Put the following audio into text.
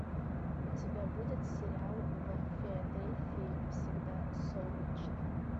у тебя будет сериал в филадельфии всегда солнечно